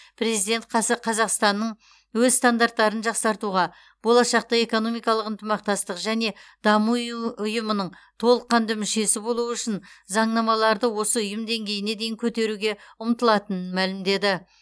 президент қасы қазақстанның өз стандарттарын жақсартуға болашақта экономикалық ынтымақтастық және даму ұйы ұйымының толыққанды мүшесі болу үшін заңнамаларды осы ұйым деңгейіне дейін көтеруге ұмтылатынын мәлімдеді